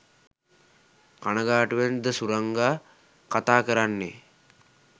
කනගාටුවෙන් ද සුරංගා කතා කරන්නේ?